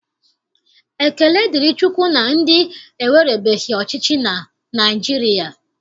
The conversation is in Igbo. Ekele dịrị Chukwu na ndị ewerebeghị ọchịchị na Naịjirịa